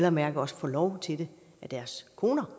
at mærke også får lov til det af deres koner